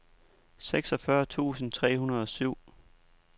seksogfyrre tusind tre hundrede og syv